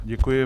Děkuji.